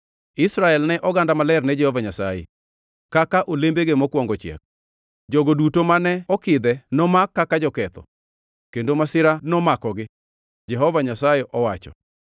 Israel ne en oganda maler ne Jehova Nyasaye, kaka olembege mokwongo chiek; jogo duto mane okidhe nomak kaka joketho, kendo masira nomakogi,’ ” Jehova Nyasaye owacho.